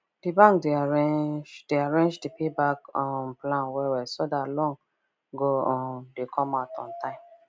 d bank de arrange de arrange the payback um plan well well so that loan go um dey come out on time